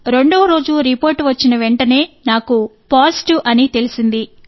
రెండవ రోజు రిపోర్ట్ వచ్చిన వెంటనే నాకు పాజిటివ్ అం తెలిసింది